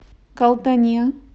калтане